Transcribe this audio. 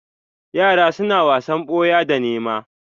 Yara suna wasan boya da nēma.